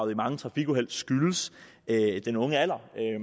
i mange trafikuheld skyldes den unge alder